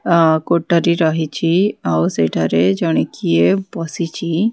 ଅ କୋଠରୀ ରହିଛି ଆଉ ସେଠାରେ ଜଣେ କିଏ ବସିଛି।